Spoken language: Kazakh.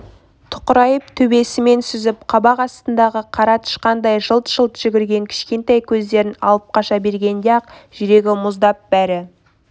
тұқырайып төбесімен сүзіп қабақ астындағы қара тышқандай жылт-жылт жүгірген кішкентай көздерін алып қаша бергенде-ақ жүрегі мұздап бәрі